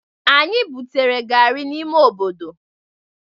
Anyị butere gari n'ime obodo.